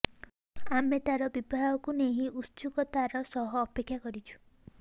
ଆମେ ତାର ବିବାହକୁ ନେଇ ଉତ୍ସୁକତାର ସହ ଅପେକ୍ଷା କରିଛୁ